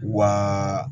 Wa